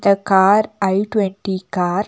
Car i twenty car .